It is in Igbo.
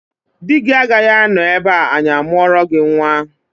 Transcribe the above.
Di gị agaghị anọ ebe a anyị amụọrọ gị nnwa!